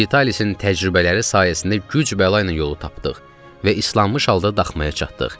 Vitalisin təcrübələri sayəsində güc bəla ilə yolu tapdıq və islanmış halda daxmaya çatdıq.